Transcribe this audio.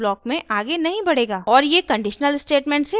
और ये conditional statement से बाहर जायेगा